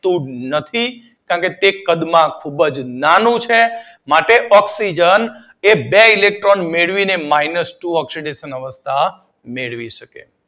તું નથી. કારણ કે તે કદમાં ખૂબ જ નાનું છે. તેથી ઑક્સીજન એ બે ઇલેક્ટ્રોન મેળવીને માઇનસ ઓક્સીડેશન અવસ્થા મેળવી શકે છે.